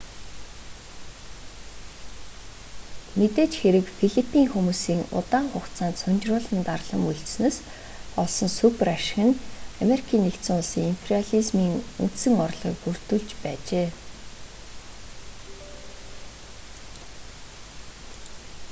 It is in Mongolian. мэдээж хэрэг филиппин хүмүүсийн удаан хугацаанд сунжруулан дарлан мөлжсөнөөс олсон супер ашиг нь ану-ын имперализмын үндсэн орлогыг бүрдүүлж байжээ